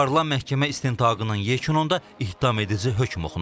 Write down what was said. Aparılan məhkəmə istintaqının yekununda ittihamedici hökm oxunub.